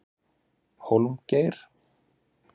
Hólmgeir